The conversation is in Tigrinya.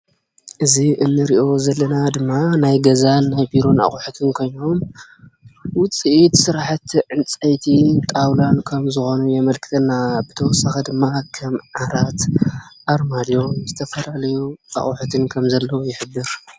እዙይ እንርእዮ ዘለና ድማ ናይ ገዛን ናይ ቢሮን ኣቑሑትን ኮይኖም ውፂኢት ስራሕቲ ዕንፀይቲ ጣውላ ከም ዝኾኑ የመልክተና። ብተወሳኺ ድማ ከም ዓራት፣ ኣርማድዮ ዝተፈላለዩ ኣቑሑትን ከም ዘለው ይሕብር።